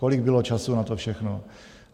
Kolik bylo času na to všechno?